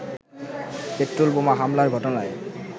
petrol বোমা হামলার ঘটনায়